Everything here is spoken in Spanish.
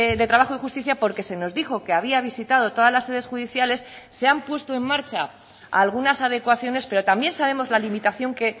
de trabajo y justicia porque se nos dijo que había visitado todas las sedes judiciales se han puesto en marcha algunas adecuaciones pero también sabemos la limitación que